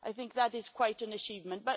I think that is quite an achievement.